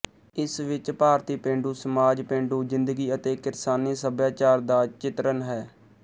ਇਸ ਵਿੱਚ ਭਾਰਤੀ ਪੇਂਡੂ ਸਮਾਜ ਪੇਂਡੂ ਜਿੰਦਗੀ ਅਤੇ ਕਿਰਸਾਨੀ ਸੱਭਿਆਚਾਰ ਦਾ ਚਿਤਰਣ ਹੈ